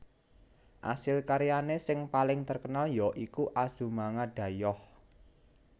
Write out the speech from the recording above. Asil karyane sing paling terkenal ya iku Azumanga Daioh